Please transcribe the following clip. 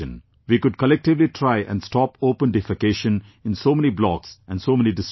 We could collectively try and stop open defecation in so many blocks and so many districts